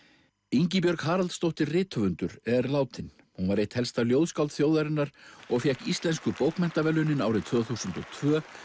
Ingibjörg Haraldsdóttir rithöfundur er látin hún var eitt helsta ljóðskáld þjóðarinnar og fékk Íslensku bókmenntaverðlaunin árið tvö þúsund og tvö